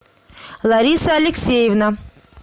лариса алексеевна